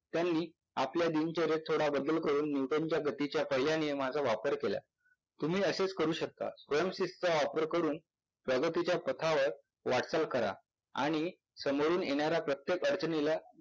त्यांनी आपल्या दिनचर्येत थोडा बदल करून Nuton च्या गतिच्या पहिल्या नियमाचा वापर केला. तुम्ही असेच करु शकता. स्वयंशिस्त वापर करून प्रगतीच्या पथावर वाटचाल करा आणि समोरून येणाऱ्या प्रत्येक अडचणीला